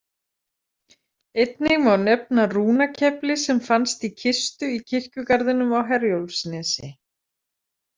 Einnig má nefna rúnakefli sem fannst í kistu í kirkjugarðinum á Herjólfsnesi.